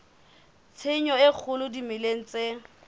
tshenyo e kgolo dimeleng tse